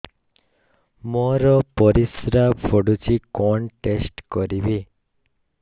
ମୋର ପରିସ୍ରା ପୋଡୁଛି କଣ ଟେଷ୍ଟ କରିବି